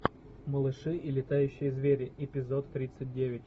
малыши и летающие звери эпизод тридцать девять